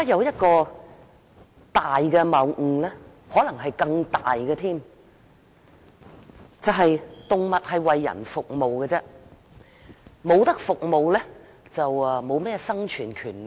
一個可能更大的謬誤是，動物是為人服務，不能提供服務就沒有生存權利。